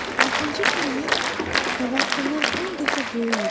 Altıncı planet qabaqkından 10 dəfə böyük idi.